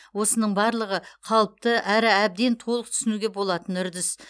осының барлығы қалыпты әрі әбден толық түсінуге болатын үрдіс